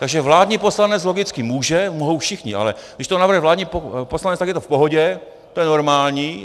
Takže vládní poslanec logicky může... mohou všichni, ale když to navrhne vládní poslanec, tak je to v pohodě, to je normální.